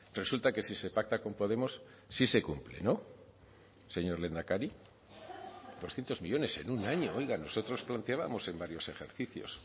resulta que si se pacta con podemos sí se cumple no señor lehendakari doscientos millónes en un año oiga nosotros planteábamos en varios ejercicios